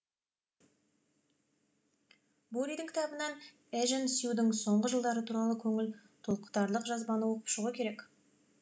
боридің кітабынан эжен сюдің соңғы жылдары туралы көңіл толқытарлық жазбаны оқып шығу керек